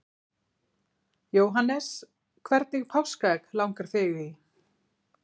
Jóhannes: Hvernig páskaegg langar þig í?